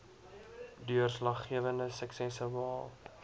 deurslaggewende suksesse behaal